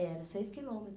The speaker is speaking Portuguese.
Era, seis quilômetros.